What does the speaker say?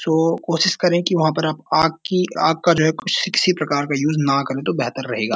तो कोशिश करें कि वहाँ पर आप आग की आग का जो है प्रकार का यूज़ न करें तो बेहतर रहेगा।